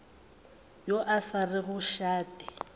yo a sa rego šate